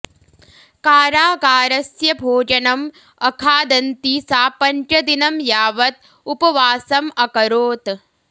कारागारस्य भोजनम् अखादन्ती सा पञ्चदिनं यावत् उपवासम् अकरोत्